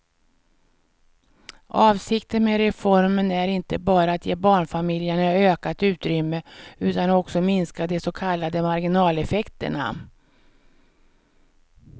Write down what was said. Avsikten med reformen är inte bara att ge barnfamiljerna ökat utrymme utan också minska de så kallade marginaleffekterna.